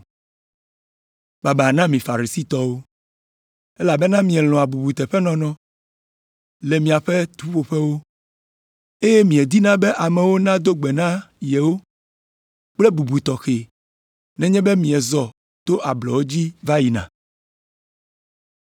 “Baba na mi Farisitɔwo! Elabena mielɔ̃a bubuteƒenɔnɔ le miaƒe ƒuƒoƒewo, eye miedina be amewo nado gbe na yewo kple bubu tɔxɛ nenye be miezɔ to ablɔ dzi va yina.